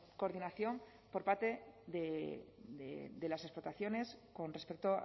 coordinación por parte de la diputación con respecto